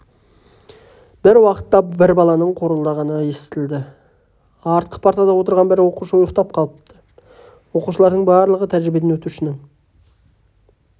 бір уақытта бір баланың қорылдағаны естілді артқы партада отырған бір оқушы ұйықтап қалыпты оқушылардың барлығы тәжірибеден өтушінің